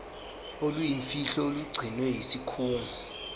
oluyimfihlo olugcinwe yisikhungo